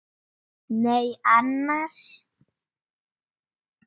Nei annars.